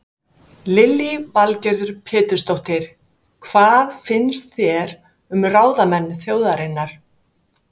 Lillý Valgerður Pétursdóttir: Hvað finnst þér um ráðamenn þjóðarinnar?